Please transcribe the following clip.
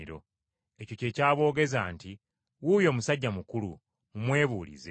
Ekyo kye kyaboogeza nti, “Wuuyo musajja mukulu mumwebuulize.”